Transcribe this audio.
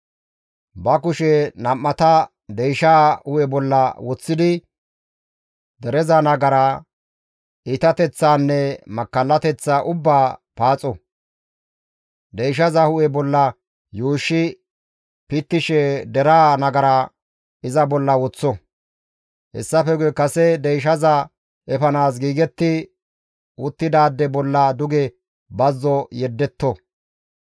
Ba kushe nam7ata deyshaa hu7e bolla woththidi dereza nagaraa, iitateththaanne makkallateththaa ubbaa paaxo; deyshaza hu7e bolla yuushshi pittishe deraa nagara iza bolla woththo; hessafe guye kase deyshaza efanaas giigetti uttidaade bolla duge bazzo yeddetto.